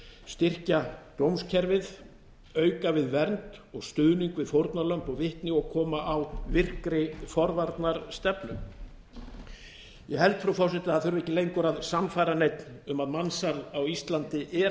styrkja dómskerfið auka við vernd og stuðning við fórnarlömb og vitni og koma á virkri forvarnastefnu ég held frú forseti að það þurfi ekki leggur að sannfæra neinn um að mansal á íslandi er